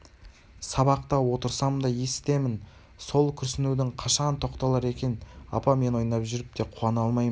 сабақта отырсам да есітемін сол күрсінуің қашан тоқталар екен апа мен ойнап жүріп те қуана алмаймын